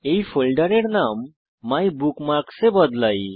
এই ফোল্ডারের নাম মাইবুকমার্কস এ বদলাই